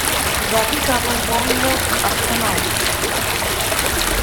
запись апл борнмут арсенал